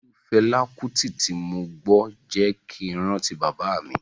Ìlù Fẹlá Kúti tí mo gbọ́ jẹ́ kin rántí bàbá mi.